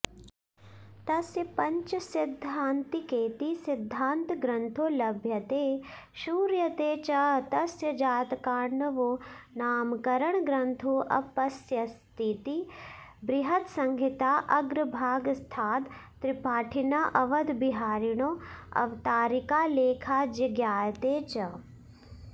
तस्य पञ्चसिद्धान्तिकेति सिद्धान्तग्रन्थो लभ्यते श्रूयते च तस्य जातकार्णवो नाम करणग्रन्थोऽप्यस्तीति बृहत्संहिताऽग्रभागस्थाद् त्रिपाठिनः अवधबिहारिणोऽवतारिकालेखाज्ज्ञायते च